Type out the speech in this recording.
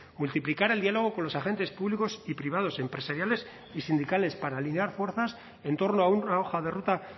multiplicar el diálogo con los agentes públicos y privados empresariales y sindicales para alinear fuerzas en torno a una hoja de ruta